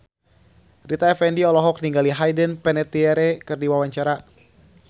Rita Effendy olohok ningali Hayden Panettiere keur diwawancara